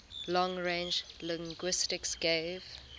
long range linguistics gave